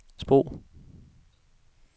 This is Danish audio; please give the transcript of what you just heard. sprog